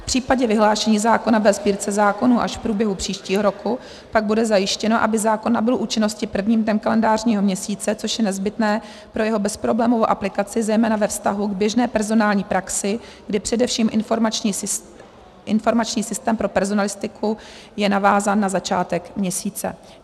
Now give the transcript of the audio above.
V případě vyhlášení zákona ve Sbírce zákonů až v průběhu příštího roku pak bude zajištěno, aby zákon nabyl účinnosti prvním dnem kalendářního měsíce, což je nezbytné pro jeho bezproblémovou aplikaci zejména ve vztahu k běžné personální praxi, kdy především informační systém pro personalistiku je navázán na začátek měsíce.